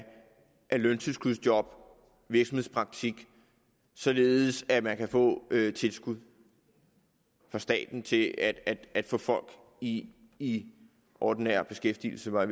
løntilskudsjob og virksomhedspraktik således at man kan få tilskud fra staten til at at få folk i i ordinær beskæftigelse var